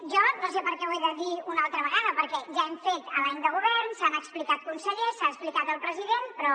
jo no sé per què ho he de dir una altra vegada perquè ja hem fet l’any de govern s’han explicat els consellers s’ha explicat el president però